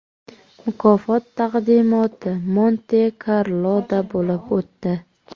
Mukofot taqdimoti Monte-Karloda bo‘lib o‘tdi.